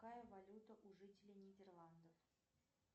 какая валюта у жителей нидерландов